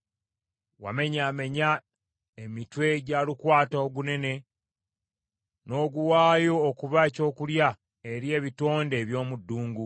Wamenyaamenya emitwe gya lukwata ogunene; n’oguwaayo okuba ekyokulya eri ebitonde eby’omu ddungu.